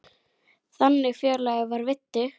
Þannig félagi var Viddi.